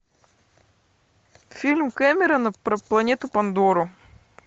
фильм кэмерона про планету пандору